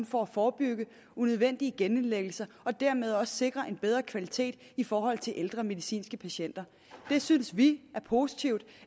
for at forebygge unødvendige genindlæggelser og dermed også sikre en bedre kvalitet i forhold til de ældre medicinske patienter det synes vi er positivt